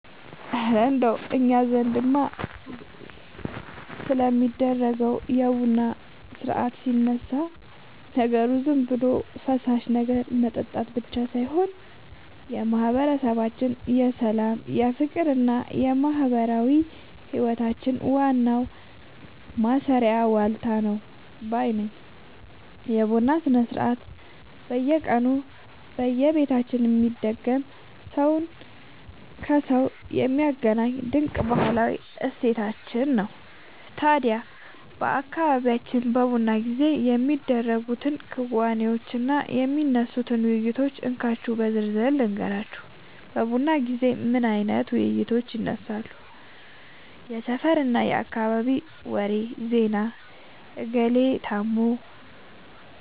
እረ እንደው እኛ ዘንድ ስለሚደረገው የቡና ሥርዓትማ ሲነሳ፣ ነገሩ ዝም ብሎ የፈሳሽ ነገር መጠጣት ብቻ ሳይሆን የማህበረሰባችን የሰላም፣ የፍቅርና የማህበራዊ ህይወታችን ዋናው ማሰሪያ ዋልታ ነው ባይ ነኝ! የቡና ሥርዓት በየቀኑ በየቤታችን የሚደገም፣ ሰውን ከሰው የሚያገናኝ ድንቅ ባህላዊ እሴታችን ነው። ታዲያ በአካባቢያችን በቡና ጊዜ የሚደረጉትን ክንዋኔዎችና የሚነሱትን ውይይቶች እንካችሁ በዝርዝር ልንገራችሁ፦ በቡና ጊዜ ምን አይነት ውይይቶች ይነሳሉ? የሰፈርና የአካባቢ ወሬ (ዜና)፦ "እገሌ ታሞ